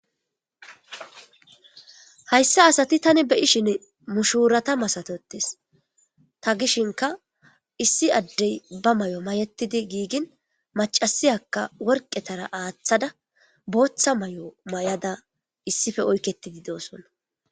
hayssa asati tani beyi shin mushuurata masatotes ta gishinka issi addey ba may7o mayetidi giigin macasiyakka worqetara aaththada booththa may7o may7ada issife oykketidi doosonna